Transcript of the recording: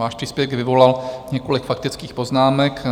Váš příspěvek vyvolal několik faktických poznámek.